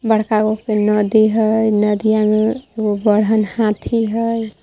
बड़का गो पे नदी है नदिया में बढ़न हाथी है.